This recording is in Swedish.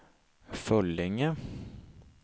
Föllinge